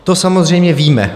To samozřejmě víme.